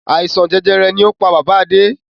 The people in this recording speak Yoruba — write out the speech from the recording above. Àìsàn jẹjẹrẹ ni ó pá bàbá Adé.